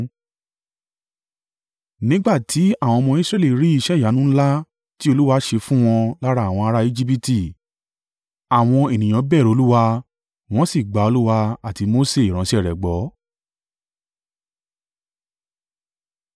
Nígbà ti àwọn ọmọ Israẹli rí iṣẹ́ ìyanu ńlá ti Olúwa ṣe fún wọn lára àwọn ará Ejibiti, àwọn ènìyàn bẹ̀rù Olúwa, wọ́n sì gba Olúwa àti Mose ìránṣẹ́ rẹ gbọ́.